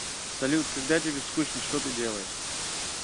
салют когда тебе скучно что ты делаешь